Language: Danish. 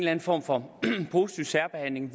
anden form for positiv særbehandling